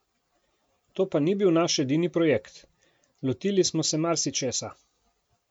To pa ni bil naš edini projekt, lotili smo se marsičesa.